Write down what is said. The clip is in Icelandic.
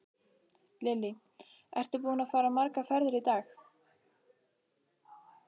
Lillý: Ertu búinn að fara margar ferðir í dag?